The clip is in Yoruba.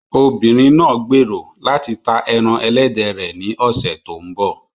Obìnrin náà gbèrò láti ta ẹran ẹlẹ́dẹ̀ rẹ̀ ní ọ̀sẹ̀ tó ń bọ̀.